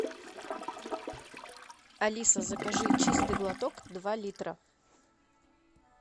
алиса закажи чистый глоток два литра